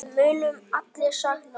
Við munum allir sakna hans.